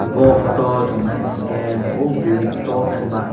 o photo o chong nai naisingke nogo bilding tokema.